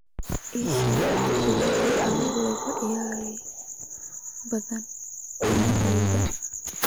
ii sheeg filimada caawa lagu ciyaarayo badda dhinaceeda